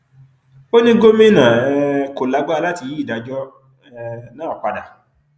ó ní gómìnà um kò lágbára láti yí ìdájọ um náà padà